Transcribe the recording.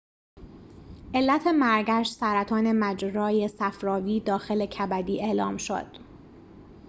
علت مرگش سرطان مجرای صفراوی داخل کبدی اعلام شد